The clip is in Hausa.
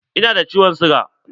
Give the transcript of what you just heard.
Ina da ciwon siga.